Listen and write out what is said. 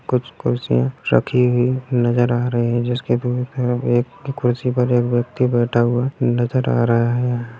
कुछ कुर्सियाँ रखी हुई नजर आ रही हैं जिसके भीं फैन एक कुर्सी पर एक व्यक्ति बैठा हुआ है नजर आ रहा है यहाँ।